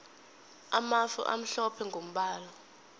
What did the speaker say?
amafu amhlophe mgombala